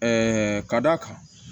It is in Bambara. ka d'a kan